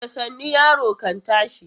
Da sannu yaro kan tashi.